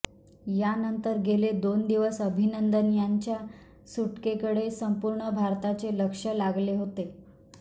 यानंतर गेले दोन दिवस अभिनंदन यांच्या सुटकेकडे संपूर्ण भारताचे लक्ष लागले होते